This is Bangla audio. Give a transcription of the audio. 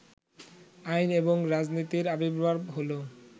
আইন এবং রাজনীতির আবির্ভাব হলো